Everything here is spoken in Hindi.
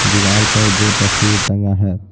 दीवार पर दो तस्वीर टंगा है।